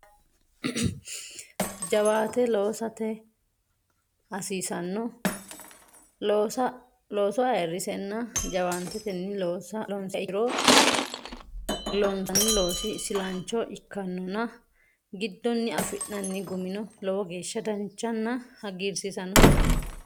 Jawaate Loosate Hasiishsha Looso ayirrinsenna jawaantetenni loonsiha ikkiro loonsanni loosi isilancho ikkannonna giddonni afi nanni gumino lowo geeshsha danchanna hagiirsiisannoha ikkanno.